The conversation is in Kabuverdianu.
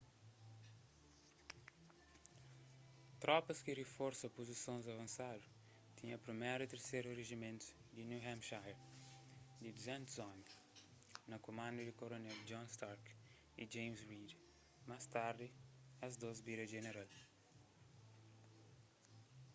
tropas ki riforsa puzisons avansadu tinha 1º y 3º rijimentus di new hampshire di 200 omi na kumandu di koronél john stark y james reed más tardi es dôs bira jeneral